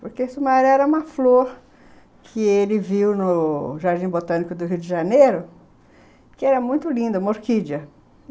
Porque Sumaré era uma flor que ele viu no Jardim Botânico do Rio de Janeiro, que era muito linda, uma orquídea.